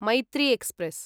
Maitri express